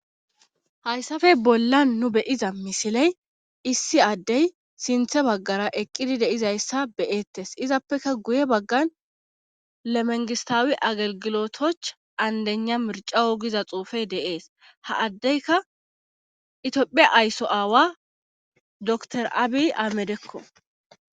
hayssafe bolla nu beyiza misiley issi addey sinthe baggara eqqidi deizayssa beyeettes izappeka guye baggan lemengistawi agagilotoch andena mircawo giza xuufey deees ha addeyka itiophiya aysso aawa dr abi amedekko